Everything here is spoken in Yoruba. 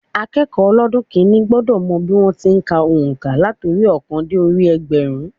Akékòó ọlọ́dún kínní gbọ́dọ̀ mọ bí wọ́n ti n ka ònká láti orí i óòkan dé orí i ẹgbẹ̀rún